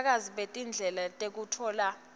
bufakazi betindlela tekutfola